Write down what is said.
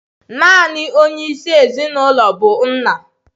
Naanị onye isi ezinụlọ bụ nna.